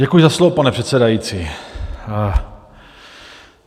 Děkuji za slovo, pane předsedající.